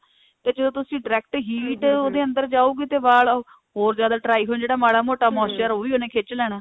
ਤੇ ਜਦੋਂ ਤੁਸੀਂ direct heat ਉਹਦੇ ਅੰਦਰ ਜਾਉਗੀ ਤੇ ਵਾਲ ਹੋਰ ਜਿਆਦਾ dry ਹੋਣ ਤੇ ਜਿਹੜਾ ਮਾੜਾ ਮੋਟਾ moisturizer ਉਹ ਵੀ ਉਹਨੇ ਖਿੱਚ ਲੈਣਾ